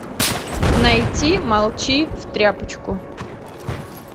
найти молчи в тряпочку